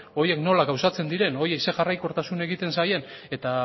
horiek nola gauzatzen diren horiei zer jarraikortasun egiten zaien eta